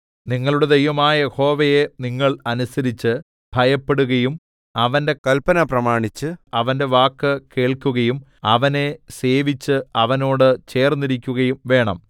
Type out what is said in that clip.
നിങ്ങളുടെ ദൈവമായ യഹോവയെ നിങ്ങൾ അനുസരിച്ച് ഭയപ്പെടുകയും അവന്റെ കല്പന പ്രമാണിച്ച് അവന്റെ വാക്ക് കേൾക്കുകയും അവനെ സേവിച്ച് അവനോട് ചേർന്നിരിക്കുകയും വേണം